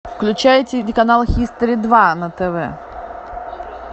включай телеканал хистори два на тв